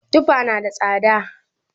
Tufa na da tsada